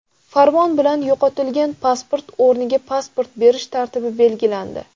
Farmon bilan yo‘qotilgan pasport o‘rniga pasport berish tartibi belgilandi.